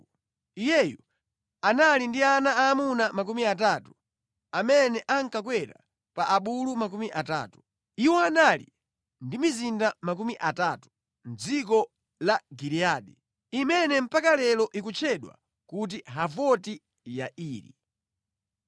Iyeyu anali ndi ana aamuna makumi atatu, amene ankakwera pa abulu makumi atatu. Iwo anali ndi mizinda makumi atatu mʼdziko la Giliyadi, imene mpaka lero ikutchedwa kuti Havoti Yairi.